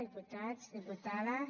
diputats diputades